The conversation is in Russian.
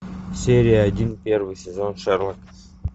серия один первый сезон шерлок